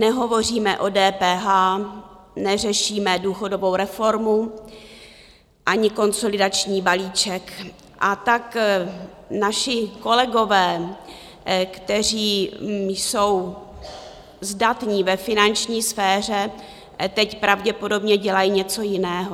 Nehovoříme o DPH, neřešíme důchodovou reformu ani konsolidační balíček, a tak naši kolegové, kteří jsou zdatní ve finanční sféře, teď pravděpodobně dělají něco jiného.